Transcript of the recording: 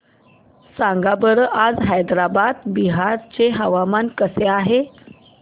सांगा बरं आज औरंगाबाद बिहार चे हवामान कसे आहे